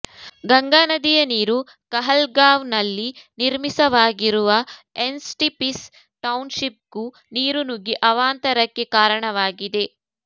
ಗಂಗಾ ನದಿಯ ನೀರು ಕಹಲ್ಗಾಂವ್ನಲ್ಲಿ ನಿರ್ಮಿಸವಾಗಿರುವ ಎನ್ಟಿಪಿಸಿ ಟೌನ್ಶಿಪ್ಗ್ೂ ನೀರು ನುಗ್ಗಿ ಅವಾಂತರಕ್ಕೆ ಕಾರಣವಾಗಿದೆ